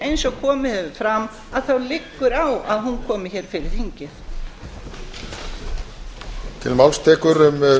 eins og komið hefur fram þá liggur á að hún komi hér fyrir þingið